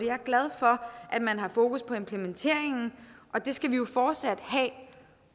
er glad for at man har fokus på implementeringen og det skal vi jo fortsat have